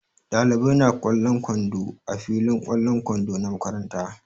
Ɗalibai na ƙwallon kwando a filin ƙwallon kwando na makaranta.